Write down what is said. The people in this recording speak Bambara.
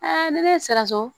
ne ye siran so